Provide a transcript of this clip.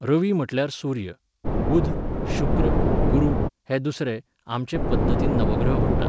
रवी म्हटल्यार सुर्य, बुध, शुक्र, गुरू हे दुसरे, आमचे पद्दतीन नवग्रह म्हणटात.